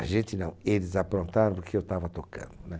A gente não, eles aprontaram porque eu estava tocando, né?